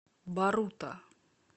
барута